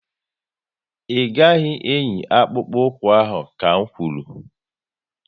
Ị gaghị eyi akpụkpu ụkwụ ahụ ka n kwuru!